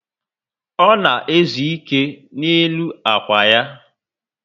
O na ezu ike n' elu ákwà ya